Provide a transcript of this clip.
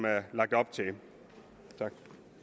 er lagt op til her tak